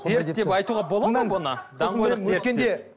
дерт деп айтуға болады ма бұны